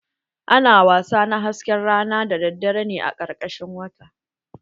Ana wasa na hasken rana ne daddare a karkashin wata